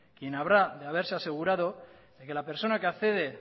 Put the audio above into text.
quien habrá de haberse asegurado de que las personas que accede